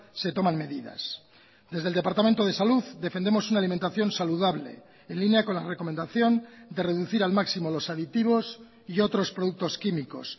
se toman medidas desde el departamento de salud defendemos una alimentación saludable en línea con la recomendación de reducir al máximo los aditivos y otros productos químicos